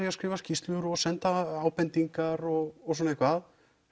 að skrifa skýrslu og senda ábendingar og svona eitthvað